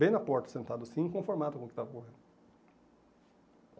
Bem na porta, sentado assim, inconformado com o que estava rolando.